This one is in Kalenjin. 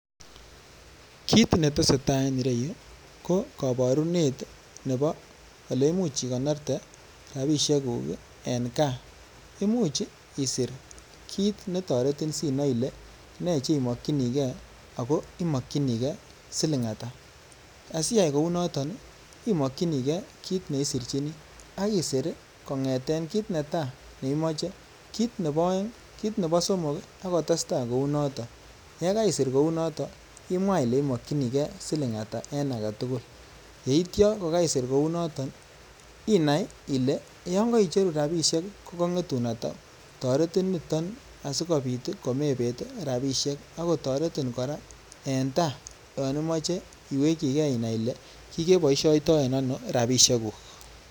Kiit netesetaa en ireyu ko koborunet nebo eleimuch ikonorte rabishekuk en kaa, imuch isir kiit netoretin sinoe ilee nee chemokyinikee akoo imokyinikee silingata, asiyai kounoton imokyinikee kiit neisirchini ak isir kong'eten kiit netaa neimoche, kiit nebo oeng, kiit nebo somok ak kotesta kounoton, yekaisir kounoton imwaa ilee imokyinikee silingata en aketukul, yeityo kokaisir kounoton inaii ilee yoon koicheru rabishek ko kong'etun atauu, toretin niton asikobit komebeet rabishek ak kotoretin kora en taai yoon imoche iwekyikee inai ilee kikeboishoitoen ano rabishekuk.